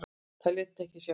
Það lét ekki sjá sig.